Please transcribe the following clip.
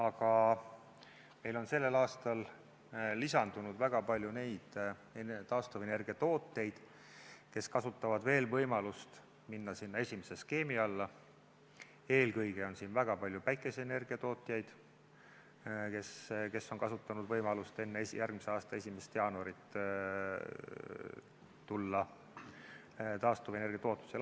Aga meil on sellel aastal lisandunud väga palju taastuvenergiatootjaid, kes kasutavad veel võimalust minna esimese skeemi alla, eelkõige on väga palju päikeseenergiatootjaid, kes on kasutanud võimalust enne järgmise aasta 1. jaanuari alustada taastuvenergiatootmisega.